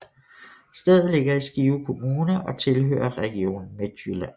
Stedet ligger i Skive Kommune og tilhører Region Midtjylland